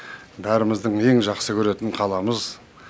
бәріміздің ең жақсы көретін қаламыз